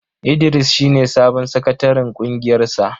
Idris shi ne sabon sakataren ƙungiyar sa.